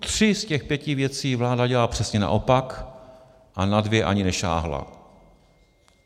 Tři z těch pěti věcí vláda dělá přesně naopak a na dvě ani nesáhla.